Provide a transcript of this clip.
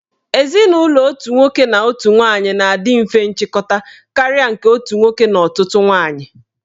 Ezinụlọ otu nwoke na otu nwaanyị na-adị mfe nchịkọta karịa nke otu nwoke na ọtụtụ nwaanyị.